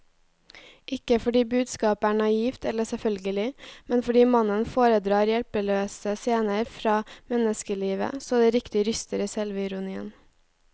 Ikke fordi budskapet er naivt eller selvfølgelig, men fordi mannen foredrar hjelpeløse scener fra menneskelivet så det riktig ryster i selvironien.